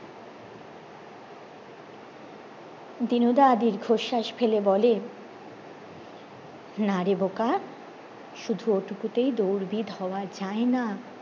দিনুদা দীর্ঘশ্বাস ফেলে বলেন নারে বোকা শুধু ও টুকুতেই দৌড়বিদ হওয়া যায়না